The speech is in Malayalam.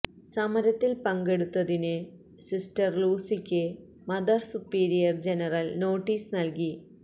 സമരത്തില് പങ്കെടുത്തതിന് സിസ്റ്റര് ലൂസിക്ക് മദര് സുപ്പീരിയര് ജനറല് നോട്ടീസ് നല്കി